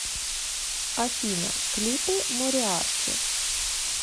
афина клипы мориарти